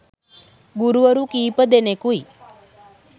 ගුරුවරු කීපදෙනකුයි.